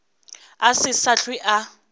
a se sa hlwe a